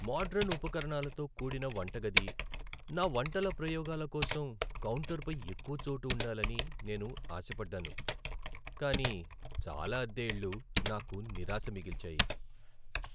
Modern ఉపకరణాలతో కూడిన వంటగది, నా వంటల ప్రయోగాల కోసం కౌంటర్‌పై ఎక్కువ చోటు ఉండాలని నేను ఆశపడ్డాను, కానీ చాలా అద్దె ఇళ్ళు నాకు నిరాశ మిగిల్చాయి.